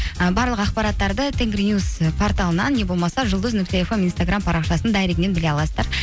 і барлық ақпараттарды тенгринюс і порталынан не болмаса жұлдыз нүкте фм инстаграмм парақшасының дайрегінен біле аласыздар